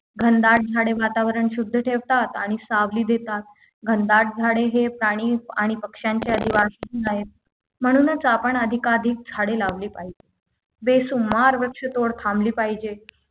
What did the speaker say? घनदाट झाडे वातावरण शुद्ध ठेवतात आणि सावली देतात घनदाट झाडे हे प्राणी आणि पक्षांच्या जीवाशी म्हणूनच आपण अधिकाधिक झाडे लावली पाहिजे बेशुमार वृक्षतोड थांबली पाहिजे